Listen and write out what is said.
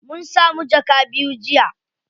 Mun samu jaka biyu jiya.